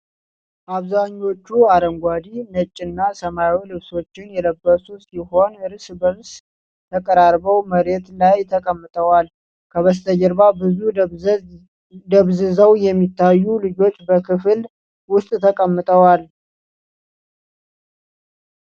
አብዛኞቹ አረንጓዴ፣ ነጭና ሰማያዊ ልብሶችን የለበሱ ሲሆን፣ እርስ በእርስ ተቀራርበው መሬት ላይ ተቀምጠዋል። ከበስተጀርባ ብዙ ደብዝዘው የሚታዩ ልጆች በክፍል ውስጥ ተቀምጠዋል።